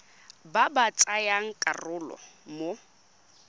ba ba tsayang karolo mo